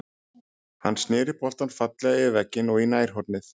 Hann snéri boltann fallega yfir vegginn og í nærhornið.